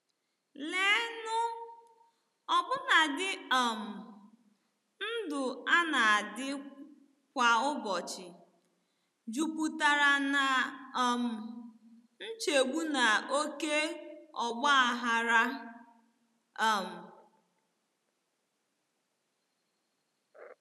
Leenụ, ọbụnadi um ndụ a na-adị kwa ụbọchị jupụtara ná um nchegbu na oké ọgba aghara! um.